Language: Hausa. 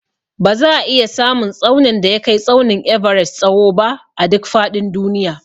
Ba za a iya samun tsaunin da ya kai tsaunin Everest tsawo ba a duk faɗin duniya